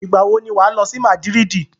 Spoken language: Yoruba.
Ìgbàwo ni wà á lọ sí Madrid?